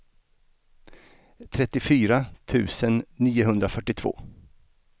trettiofyra tusen niohundrafyrtiotvå